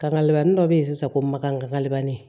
Kakale labanni dɔ bɛ ye sisan ko makanbanani